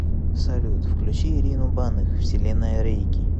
салют включи ирину банных вселенная рейки